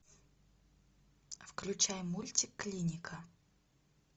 включай мультик клиника